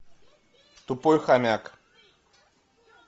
тупой хомяк